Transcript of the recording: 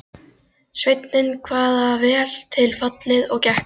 Sveinninn kvað það vel til fallið og gekk fram.